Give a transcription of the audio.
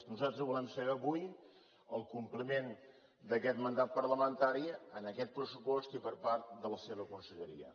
nosaltres volem saber avui el compliment d’aquest mandat parlamentari en aquest pressupost i per part de la seva conselleria